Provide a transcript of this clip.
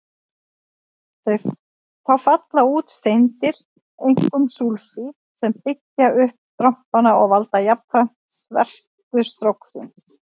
Þá falla út steindir, einkum súlfíð, sem byggja upp strompana og valda jafnframt svertu stróksins.